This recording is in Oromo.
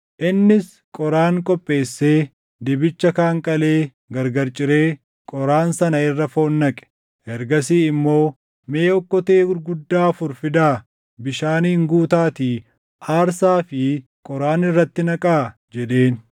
Innis qoraan qopheessee, dibicha kaan qalee gargar ciree qoraan sana irra foon naqe. Ergasii immoo, “Mee okkotee gurguddaa afur fidaa bishaaniin guutaatii aarsaa fi qoraan irratti naqaa” jedheen.